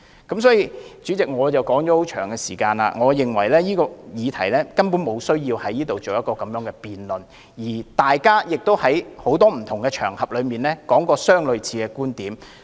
代理主席，說了這麼久，我認為這項議題根本沒有需要在立法會辯論，因為大家已在不同場合提出類似的觀點。